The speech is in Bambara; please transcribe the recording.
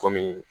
Kɔmi